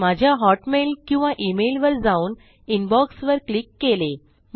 माझ्या हॉटमेल किंवा इमेल वर जाऊन इनबॉक्स वर क्लिक केले